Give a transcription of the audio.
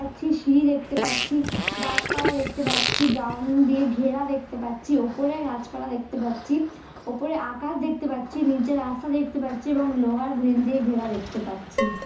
পাচ্ছি সিঁড়ি দেখতে পাচ্ছি গাছ পালা দেখতে পাচ্ছি ব্রাউনড দিয়ে ঘেরা দেখতে পাচ্ছি ওপরে গাছ পালা দেখতে পাচ্ছি ওপরে আকাশ দেখতে পাচ্ছি নিচে রাস্তা দেখতে পাচ্ছি এবং লোহার গ্রিল দিয়ে ঘেরা দেখতে পাচ্ছি।